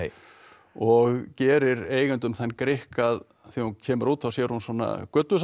og gerir eigendum þann grikk að þegar hún kemur út þá sér hún svona